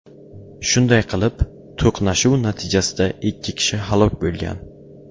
Shunday qilib, to‘qnashuv natijasida ikki kishi halok bo‘lgan.